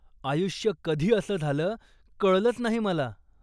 आयुष्य कधी असं झालं, कळलंच नाही मला.